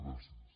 gràcies